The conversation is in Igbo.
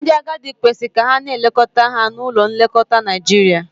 Ndị agadi kwesịrị ka a na-elekọta ha na ụlọ nlekọta na Naijiria.